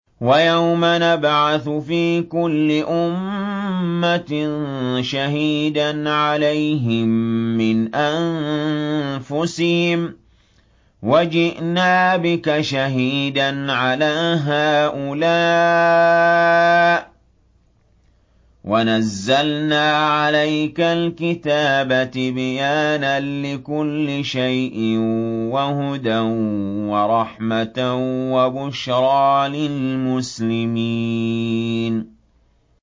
وَيَوْمَ نَبْعَثُ فِي كُلِّ أُمَّةٍ شَهِيدًا عَلَيْهِم مِّنْ أَنفُسِهِمْ ۖ وَجِئْنَا بِكَ شَهِيدًا عَلَىٰ هَٰؤُلَاءِ ۚ وَنَزَّلْنَا عَلَيْكَ الْكِتَابَ تِبْيَانًا لِّكُلِّ شَيْءٍ وَهُدًى وَرَحْمَةً وَبُشْرَىٰ لِلْمُسْلِمِينَ